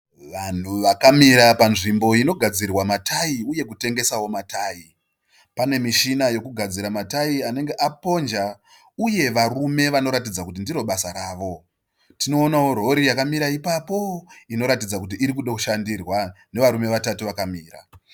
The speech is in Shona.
Vanhu vakamira panzvimbo inogadzirwa matayi uye kutengesawo matayi. Pane mishina yekugadzira matayi anenge aponja uye varume vanoratidza kuti ndiro basa ravo. Tinoona rori yakamirawo ipapo inoratidza kuti iri kuda kushandirwa nevarume vatatu vakamira.